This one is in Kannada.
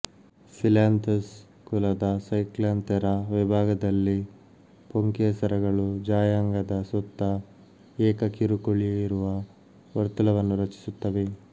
ಫ಼ಿಲ್ಯಾಂಥಸ್ ಕುಲದ ಸೈಕ್ಲ್ಯಾಂಥೆರಾ ವಿಭಾಗದಲ್ಲಿ ಪುಂಕೇಸರಗಳು ಜಾಯಾಂಗದ ಸುತ್ತ ಏಕ ಕಿರುಕುಳಿಯಿರುವ ವರ್ತುಲವನ್ನು ರಚಿಸುತ್ತವೆ